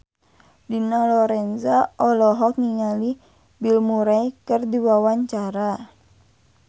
Dina Lorenza olohok ningali Bill Murray keur diwawancara